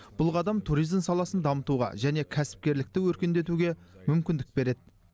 бұл қадам туризм саласын дамытуға және кәсіпкерлікті өркендетуге мүмкіндік береді